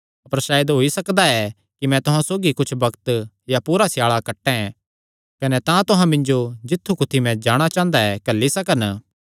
अपर सायद होई सकदा ऐ कि मैं तुहां सौगी कुच्छ बग्त या पूरा स्याल़ा कटैं कने तां तुहां मिन्जो जित्थु कुत्थी मैं जाणा चांह़दा ऐ घल्ली सकन